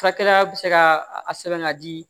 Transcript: Furakɛla bɛ se ka a sɛbɛn ka di